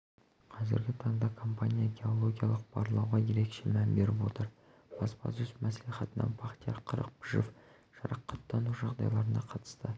қазіргі таңда компания геологиялық барлауға ерекше мән беріп отыр баспасөз мәслихатында бақтияр қырықпышев жарақаттану жағдайларына қатысты